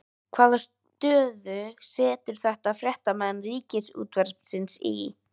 Hvaða stöðu setur þetta fréttamenn Ríkisútvarpsins í?